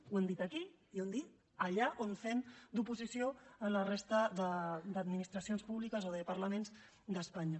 ho hem dit aquí i ho hem dit allà on fem d’oposició a la resta d’administracions públiques o de parlaments d’espanya